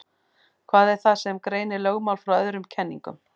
Hvað er það sem greinir lögmál frá öðrum kenningum?